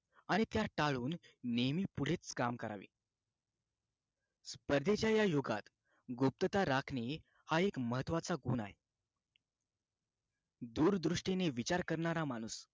आणि त्या टाळून नेहमी पुढे काम करावे स्पर्धेच्या या युगात गुप्तता राखणे हा एक महत्त्वाचा गुण आहे दूरदृष्टीने विचार करणारा माणूस